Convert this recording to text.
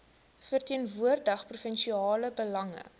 verteenwoordig provinsiale belange